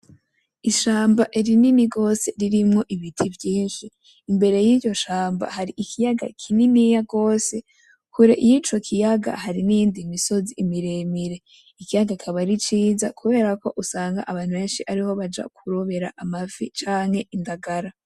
Ishamba ririni gose ririmwo ibiti vyinshi. Imbere y'iryo shamba hari ikiyaga kininiya gose. Kure y'icyo kiyaga hari n'indi misozi miremire. Ikiyaga kikaba ari ciza kubera ko usanga abantu benshi ariho baja kurobera amafi cyanke indagala.